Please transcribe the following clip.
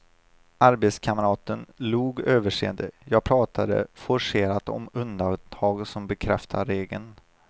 Arbetskamraten log överseende, jag pratade forcerat om undantag som bekräftar regeln.